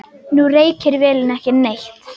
Nú reykir vélin ekki neitt.